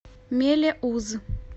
мелеуз